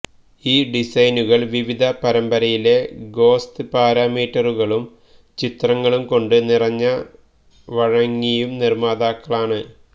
ഈ ഡിസൈനുകൾ വിവിധ പരമ്പരയിലെ ഗൊസ്ത് പാരമീറ്ററുകളും ചിത്രങ്ങളും കൊണ്ട് നിറഞ്ഞ വഴങ്ങിയും നിര്മ്മാതാക്കളാണ്